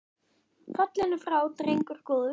Fallinn er frá drengur góður.